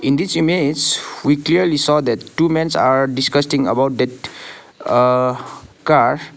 in this image we clearly saw that two mens are discusting about that uh car.